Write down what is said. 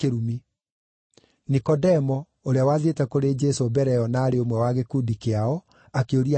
Nikodemo, ũrĩa wathiĩte kũrĩ Jesũ mbere ĩyo na aarĩ ũmwe wa gĩkundi kĩao, akĩũria atĩrĩ,